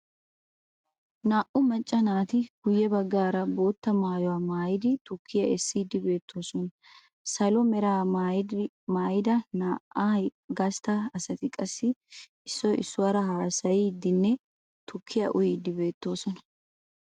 Naa"u macca naati guyye baggaara bootta maayuwa maayidi tukkiya essiiddi beettoosona. Salo meraa maayida na'ay gastta asati qassi issoy issuwaara haasayiiddinne tukkiya uyiiddi beettoosona.